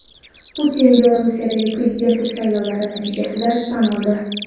Putin Belarusdagi prezidentlik saylovlari natijasini tan oldi.